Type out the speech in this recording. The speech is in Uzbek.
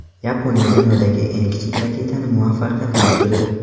Yaponiya dunyodagi eng kichik raketani muvaffaqiyatli uchirdi .